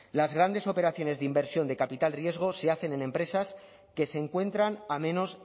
las grandes operaciones de inversión de capital riesgo se hacen en empresas que se encuentran a menos